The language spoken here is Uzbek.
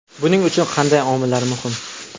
Buning uchun qanday omillar muhim?